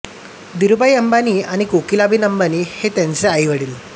धीरूभाई अंबानी आणि कोकीलाबेन अंबानी हे त्यांचे आई वडील